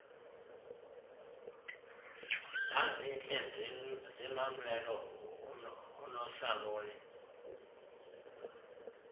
zazintle zinonwele unosaluni